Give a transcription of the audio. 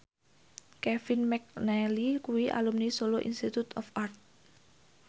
Kevin McNally kuwi alumni Solo Institute of Art